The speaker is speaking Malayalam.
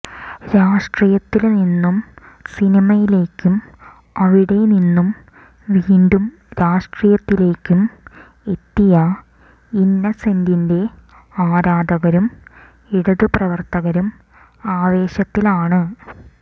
രാഷ്ടീയത്തില് നിന്നും സിനിമയിലേക്കും അവിടെ നിന്നു വീണ്ടും രാഷ്ടീയത്തിലേക്കും എത്തിയ ഇന്നസെന്റിന്റെ ആരാധകരും ഇടതു പ്രവര്ത്തകരും ആവേശത്തിലാണ്